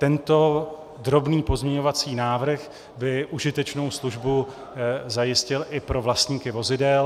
Tento drobný pozměňovací návrh by užitečnou službu zajistil i pro vlastníky vozidel.